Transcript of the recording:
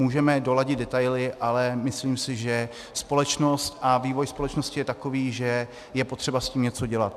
Můžeme doladit detaily, ale myslím si, že společnost a vývoj společnosti je takový, že je potřeba s tím něco dělat.